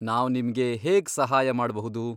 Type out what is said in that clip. ನಾವ್ ನಿಮ್ಗೆ ಹೇಗ್ ಸಹಾಯ ಮಾಡ್ಬಹುದು?